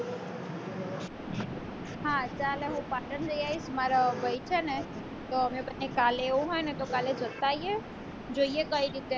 હા ચાલે હું પાટણ જઈ આવીશ મારો ભાઈ છે ને તો અમે બને કાલે એવું હોય ને તો કાલે જતા આયે જોઈ એ કઈ રીતે